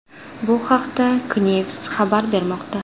Bu haqda Knews xabar bermoqda .